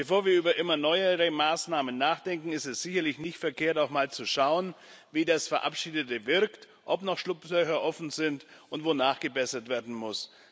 Bevor wir über immer neuere Maßnahmen nachdenken, ist es sicherlich nicht verkehrt, auch mal zu schauen, wie das Verabschiedete wirkt, ob noch Schlupflöcher offen sind und wo nachgebessert werden muss.